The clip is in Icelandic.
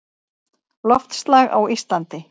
Loftslag á Íslandi